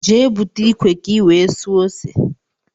Jee búte ikwe ka i wee suo ose!!!